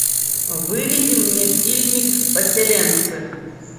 выведи мне фильмик поселенцы